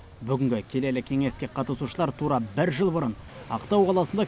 бүгінгі келелі кеңеске қатысушылар тура бір жыл бұрын ақтау қаласында